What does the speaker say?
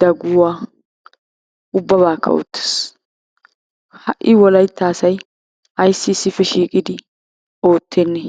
daguwaa ubbabakka oottees, ha'i wolaytta asay ayssi issippe shiiqidi oottenne?